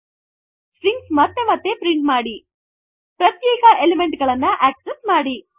4 string ಮತ್ತೆ ಮತ್ತೆ print ಮಾಡಿ 5 ಪ್ರತ್ಯೇಕ ಎಲಿಮೆಂಟ್ ಗಳನ್ನು ಅಕ್ಸೆಸ್ಸ್ ಮಾಡಿ